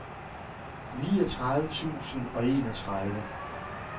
niogtredive tusind og enogtredive